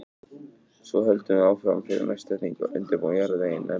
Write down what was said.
Svo höldum við áfram fyrir næsta þing og undirbúum jarðveginn enn betur.